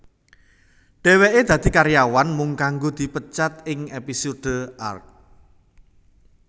Dheweke dadi karyawan mung kanggo dipecat ing episode Arrgh